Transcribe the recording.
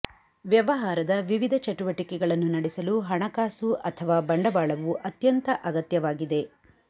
ವ್ಯವಹಾರದ ವಿವಿಧ ಚಟುವಟಿಕೆಗಳನ್ನು ನಡೆಸಲು ಹಣಕಾಸು ಅಥವಾ ಬಂಡವಾಳವು ಅತ್ಯಂತ ಅಗತ್ಯವಾಗಿದೆ